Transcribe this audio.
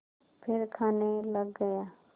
फिर खाने लग गया